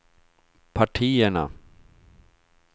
partierna